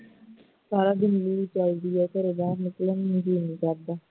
ਸਾਰਾ ਦਿਨ ਲੁ ਚਲਦੀ ਹੈ ਘਰੋਂ ਨਿਕਲਣ ਨੂੰ ਜੀਅ ਨਹੀਂ ਕਰਦਾ